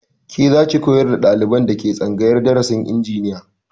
Ke zaki koyar da ɗaliban da ke tsangayar darasin injiniya